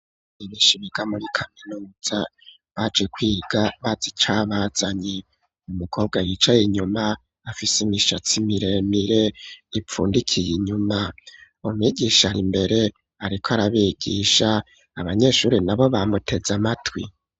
Bagishika muri kaminuza baje kwiga bazi icabazanye umukobwa yicaye inyuma afise imishatsi miremire ipfundikiye inyuma, umwigisha ari imbere ariko arabigisha abanyeshuri nabo bamuteze amatwi